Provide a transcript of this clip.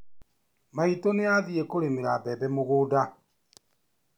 Maitũ nĩ athiĩ kũrĩmĩra mbembe mũgũnda.